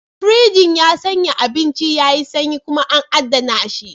Firinji ya sanya abincin yayi sanyi kuma an adana shi.